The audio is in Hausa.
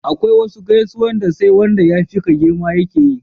akwai wasu gaisuwan da sai Wanda ya fi ka girma ya keyi